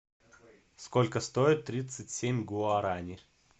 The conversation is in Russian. сколько стоит тридцать семь гуарани